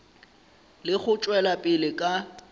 le go tšwela pele ka